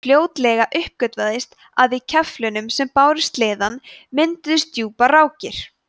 fljótlega uppgötvaðist að í keflunum sem báru sleðann mynduðust djúpar rákir